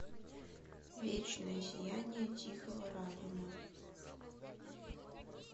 вечное сияние тихого разума